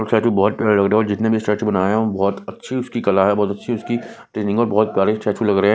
Statue बहोत लग रहे हो जिसने भी स्टैचू बनाया हो बहोत अच्छी स्टीकर लगाया हो बहोत अच्छी इसकी ट्रेनिंग और बहोत प्यारी स्टैचू लग रहे हैं।